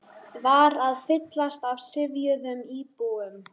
var að fyllast af syfjuðum íbúum.